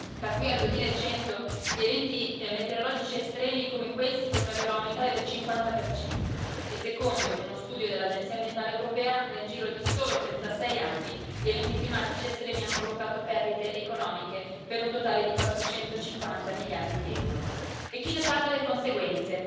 Da qui al 2100 gli eventi meteorologici estremi come questi potrebbero aumentare del 50 e, secondo uno studio dell'Agenzia ambientale europea, nel giro di solo 36 anni gli eventi climatici estremi hanno provocato perdite economiche per un totale di 450 miliardi di euro E chi ne paga le conseguenze?